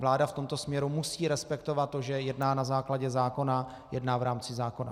Vláda v tomto směru musí respektovat to, že jedná na základě zákona, jedná v rámci zákona.